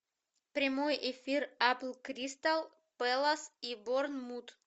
прямой эфир апл кристал пэлас и борнмут